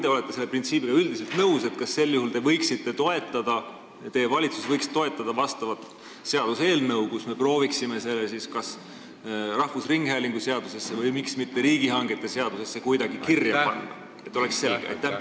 Kas sel juhul, kui te olete üldiselt selle printsiibiga nõus, võiks teie valitsus toetada vastavat seaduseelnõu, kus me prooviksime selle kõik kuidagi kirja panna kas rahvusringhäälingu seadusesse või miks mitte riigihangete seadusesse, et oleks selge?